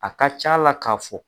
A ka ca la ka fɔ